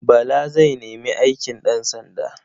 Bala zai nemi aikin ɗansanda.